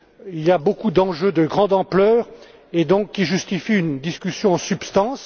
Il y a beaucoup d'enjeux de grande ampleur et qui justifient donc une discussion en substance.